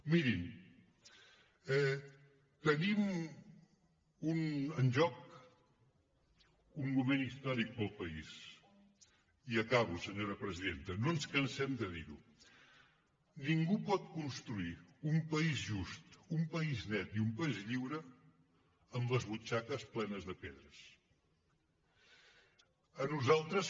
mirin tenim en joc un moment històric per al país i acabo senyora presidenta no ens cansem de dirho ningú pot construir un país just un país net i un país lliure amb les butxaques plenes de pedres